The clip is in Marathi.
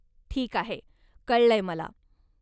ठीक आहे, कळलंय मला.